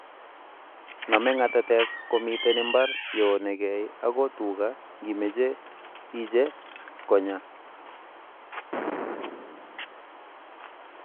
name ngatatek komiten imbar yo onegei ago tuga ngimeche iche konyaa